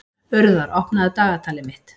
Urðar, opnaðu dagatalið mitt.